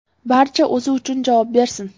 Barcha o‘zi uchun javob bersin.